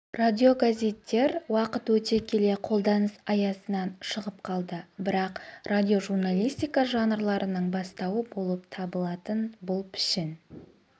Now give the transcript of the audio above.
радиогазеттер уақыт өте келе қолданыс аясынан шығып қалды бірақ радиожурналистика жанрларының бастауы болып табылатын бұл пішін